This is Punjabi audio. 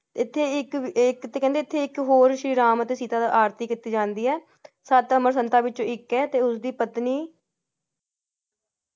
ਐਥੇ ਇਕ~ਇਕ~ਤੇ ਕਹਿੰਦੇ ਇਥੇ ਇਕ ਹੋਰ ਸ਼੍ਰੀ ਰਾਮ ਅਤੇ ਸੀਤਾ ਦਾ ਆਰਤੀ ਕਿੱਤੀ ਜਾਂਦੀ ਹੈ । ਸੰਤਾ ਵਿਚ ਇੱਕ ਹੈ ਤੇ ਉਸਦੀ ਪਤਨੀ ।